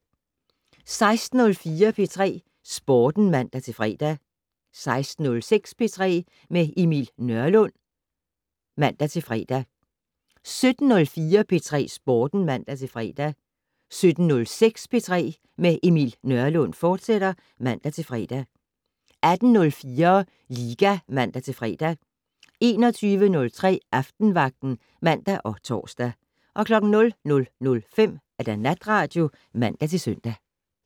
16:04: P3 Sporten (man-fre) 16:06: P3 med Emil Nørlund (man-fre) 17:04: P3 Sporten (man-fre) 17:06: P3 med Emil Nørlund, fortsat (man-fre) 18:04: Liga (man-fre) 21:03: Aftenvagten (man og tor) 00:05: Natradio (man-søn)